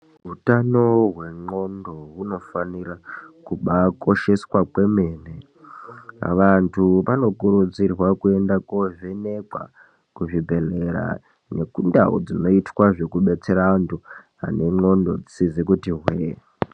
Hutano wengondxondo unofana kuba kosheswa kwemene vantu vanokurudzirwa kuenda kundo vhenekwa kuzvi bhedhlera nekundau dzinoita zvekudetsera antu ane ngondxondo dzisizi kuti hwe.